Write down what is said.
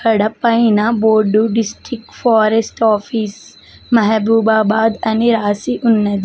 ఇక్కడ పైన board district forest office Mahabubabad అని రాసి ఉన్నది.